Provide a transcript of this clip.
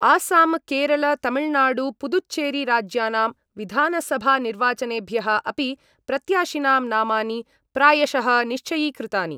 आसाम केरल तमिलनाडु पुदुच्चेरी राज्यानां विधानसभानिर्वाचनेभ्यः अपि प्रत्याशिनां नामानि प्रायशः निश्चयीकृतानि।